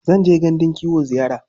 Zan je gandun kiwo ziyara.